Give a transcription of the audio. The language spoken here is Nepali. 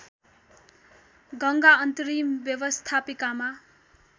गङ्गा अन्तरिम व्यवस्थापिकामा